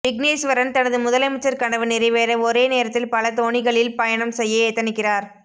விக்னேஸ்வரன் தனது முதலமைச்சர் கனவு நிறைவேற ஒரே நேரத்தில் பல தோணிகளில் பயணம் செய்ய எத்தனிக்கிறார்